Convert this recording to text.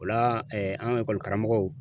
O la an ka karamɔgɔw.